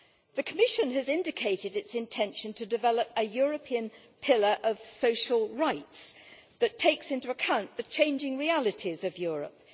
The Commission has indicated its intention to develop a European pillar of social rights that takes into account the changing realities of Europe.